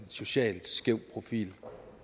socialt skæv profil